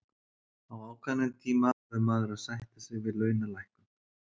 Á ákveðnum tíma verður maður að sætta sig við launalækkun.